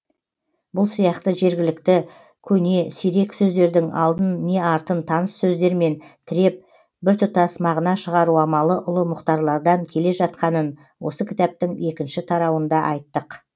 бұл сияқты жергілікті көне сирек сөздердің алдын не артын таныс сөздермен тіреп біртұтас мағына шығару амалы ұлы мұхтарлардан келе жатқанын осы кітаптың екінші тарауында айттық